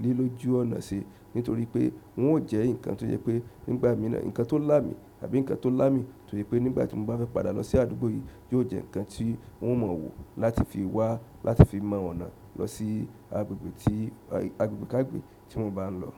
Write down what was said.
ilé ojú ọ̀nà ṣe nítorí pé wọn ò jẹ́ nǹkan tó je pé nígbà mìíràn nǹkan tó là mí àbí nǹkan tó lá mí. Nítorí pé nígbà tí mo bá fẹ́ padà lọ sí àdúgbò yìí, yóò jẹ́ nǹkan tí wọn ò mọ̀ wò láti fi wá láti fi mọ̀ ọ̀nà lọ sí agbègbè tí agbègbè kàgbègbe tí mo bá ń lọ.